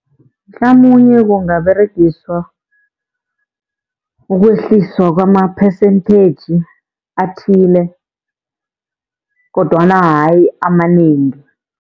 Mhlamunye kungaberegiswa, ukwehliswa kwama-percentage athile kodwana hayi amanengi.